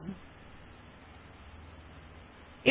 now right click on the mouse and click on the copy option